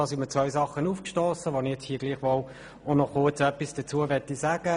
Diesbezüglich sind mir zwei Punkte aufgestossen, zu welchen ich mich kurz äussern möchte.